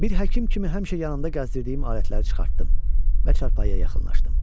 Bir həkim kimi həmişə yanımda gəzdirdiyim alətləri çıxartdım və çarpayıya yaxınlaşdım.